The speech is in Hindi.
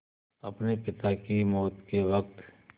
अपने पिता की मौत के वक़्त